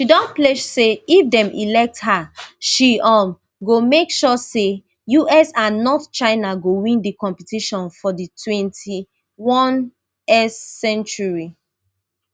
she don pledge say if dem elect her she um go make sure say us and not china go win di competition for di twenty-onest century